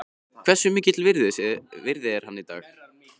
Hversu mikils virði er hann í dag?